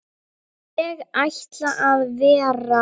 Ég ætla að vera.